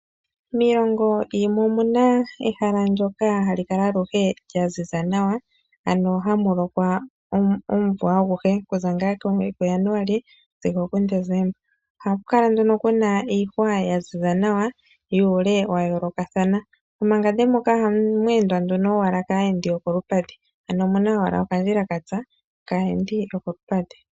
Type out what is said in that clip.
Miilongo yimwe omuna ehala ndjoka ha li kala aluhe lyaziza nawa, ano hamu lokwa omumvo aguhe okuza kuJanuali sigo okuDesemba . Ohaku kala nduno ku na iihwa yaziza nawa , yuule wayoolokathana . Momangande moka ohamu endwa owala kaayendi yokolupadhi ano owala okandjila katsa, kaayendi yokolupadhi.